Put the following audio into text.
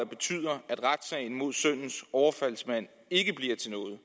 betyder at retssagen mod sønnens overfaldsmand ikke bliver til noget